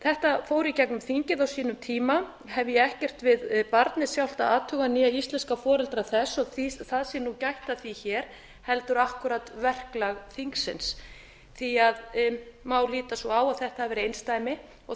þetta fór í gegnum þingið á sínum tíma hef ég ekkert við barnið sjálft að athuga né íslenska foreldra þess og það sé nú gætt að því hér heldur akkúrat verklag þingsins því má líta svo á að þetta hafi verið einsdæmi og